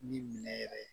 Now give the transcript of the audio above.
Ni minɛ yɛrɛ